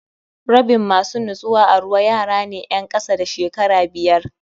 Rabin masu nutsuwa a ruwa yarane 'yen kasa da shekara biyar